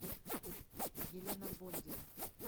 елена бондина